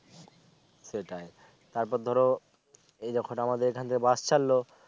সেটাই তার পর ধরো এই যখন আমাদের এখান থেকে bus ছাড়লও